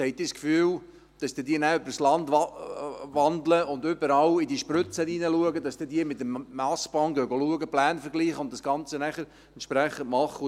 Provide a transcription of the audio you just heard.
Haben Sie das Gefühl, dass diese dann über das Land wandeln und überall in diese Spritzen reinschauen, dass diese mit dem Massband schauen gehen, Pläne vergleichen und das Ganze dann entsprechend machen?